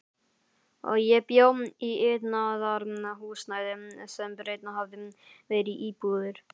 Ég bjó í iðnaðarhúsnæði sem breytt hafði verið í íbúðir.